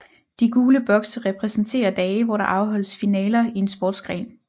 De gule bokse repræsenterer dage hvor der afholdes finaler i en sportsgren